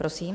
Prosím.